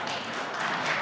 Istungi lõpp kell 10.09.